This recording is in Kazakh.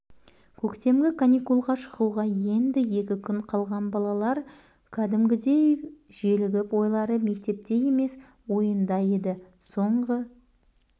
көктемгі каникулға шығуға енді екі күн қалған балалар кәдімгідей желігіп ойлары мектепте емес ойында еді соңғы